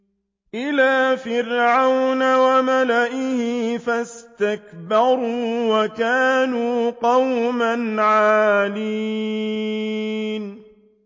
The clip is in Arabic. إِلَىٰ فِرْعَوْنَ وَمَلَئِهِ فَاسْتَكْبَرُوا وَكَانُوا قَوْمًا عَالِينَ